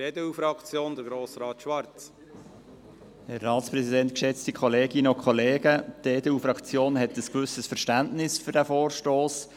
Die EDU-Fraktion hat ein gewisses Verständnis für diesen Vorstoss.